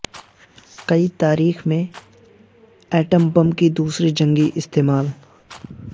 کی تاریخ میں ایٹم بم کی دوسری جنگی استعمال